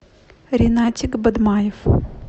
ринатик бадмаев